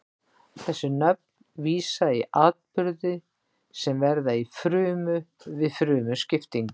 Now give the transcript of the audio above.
þessi nöfn vísa í atburði sem verða í frumu við frumuskiptingu